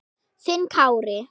Þinn Kári.